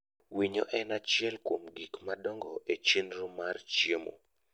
Winyo en achiel kuom gik madongo e chenro mar chiemo.